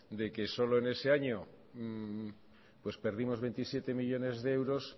de que solo en ese año perdimos veintisiete millónes de euros